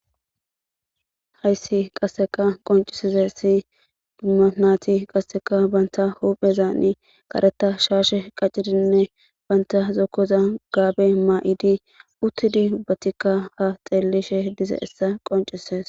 Hayssi qasseka qoncisize si manaati qasseka banta huphezaani kareta shaashe qaccidinne banta zookoza gaabe ma7idi uttidi batikka ha xeellishe dizayssa qonccises.